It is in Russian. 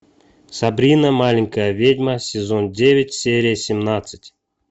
сабрина маленькая ведьма сезон девять серия семнадцать